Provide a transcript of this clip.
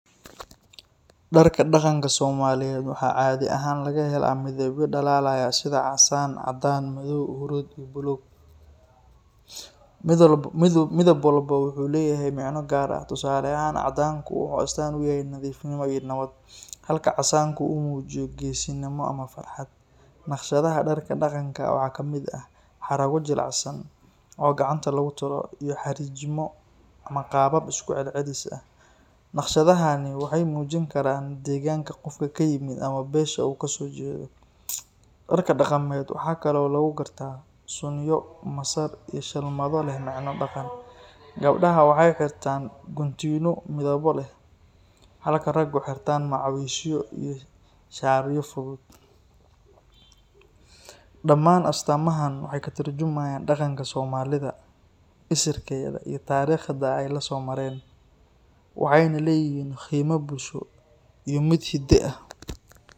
Darka daqanka somaaliyeed waxaa caadi ahaan laga helaa midabyo dalaalaya sida cadaan, casaan, madoow, hurud iyo buluug, midab walbo wuxuu leyahay micno gaar ah, tusaale ahaan cadaanku wuxuu astaan uyahay nadiifin iyo Nabad, halka casaanku uu mujiyo geesinimo ama farxad, nashqadaha darka daqanka waxaa kamid ah xaraabo jilicsan oo gacanta lagu tolo iyo xariijima ama qaabab isku celcelis ah, nashqadahaan waxeey mujin karaan deeganka qofka uu kayimid ama beesha uu kasoo jeedo, darka daqameed waxaa kale oo lagu gartaa suniyo, masar iyo sharmada leh, gabdaha waxeey xirtaan guntiimo, halka ragu xirtaan macawiisyo iyo sharar fudud, damaan astaamahan, waxeey ka turjumaayan daqanka soomalida, isirkeeda iyo tarikhda aay lasoo mareen, waxeeyna leeyihiin qiimo bulsho iyo mid hida ah.